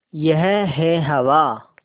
यह है हवा